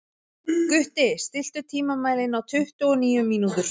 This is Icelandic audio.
Gutti, stilltu tímamælinn á tuttugu og níu mínútur.